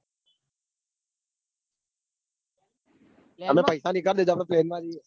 અને પૈસા લીધા તો train